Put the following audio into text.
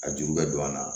A juru bɛ don a la